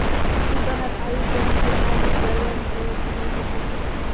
સીડી બહાર આવી તે મુદ્દે હાર્દિક ગર્વ અનુભવે છેઃ નીતિન પટેલ